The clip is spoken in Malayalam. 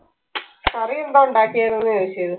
കറി എന്താ ഉണ്ടാക്കിയത് എന്ന് ചോദിച്ചത്.